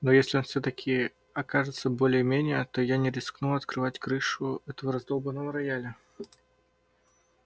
но если он всё-таки окажется более-менее то я не рискну открывать крышу этого раздолбанного рояля